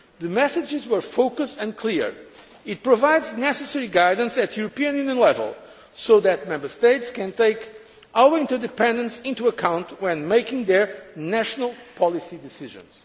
The messages were focused and clear. It provides the necessary guidance at European Union level so that Member States can take our interdependence into account when making their national policy decisions.